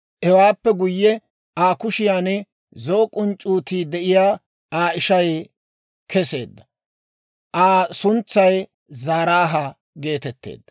Hewaappe guyye, Aa kushiyaan zo'o k'unc'c'uutii de'iyaa Aa ishay keseedda; Aa suntsay Zaaraaha geetetteedda.